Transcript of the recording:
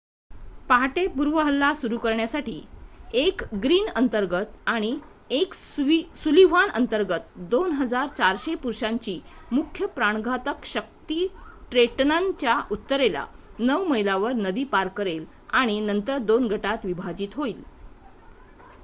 पहाटे पूर्व हल्ला सुरू करण्यासाठी 1 ग्रीन अंतर्गत आणि 1 सुलिव्हान अंतर्गत 2,400 पुरुषांची मुख्य प्राणघातक शक्ती ट्रेंटनच्या उत्तरेला 9 मैलांवर नदी पार करेल आणि नंतर 2 गटात विभाजित होईल